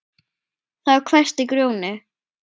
Þá hvæsti Grjóni